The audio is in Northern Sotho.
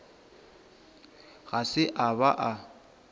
ga se a ba a